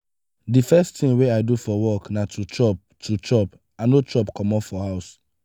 the first thing wey i do for work na to chop to chop i no chop comot for house